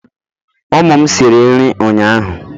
ụmụ m siri nri ụnyahụ